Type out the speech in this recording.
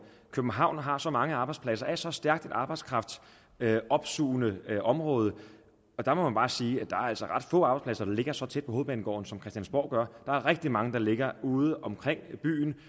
københavn har så mange arbejdspladser er så stærkt et arbejdskraftopsugende område og der må man bare sige at der altså er ret få arbejdspladser der ligger så tæt på hovedbanegården som christiansborg gør der er rigtig mange der ligger udeomkring i byen